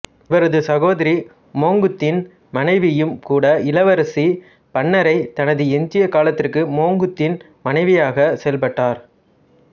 இவரது சகோதரி மோங்குத்தின் மனைவியும் கூட இளவரசி பன்னரை தனது எஞ்சிய காலத்திற்கு மோங்குத்தின் மனைவியாக செயல்பட்டார்